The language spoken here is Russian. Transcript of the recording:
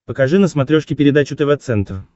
покажи на смотрешке передачу тв центр